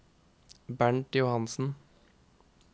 Bernt Johansen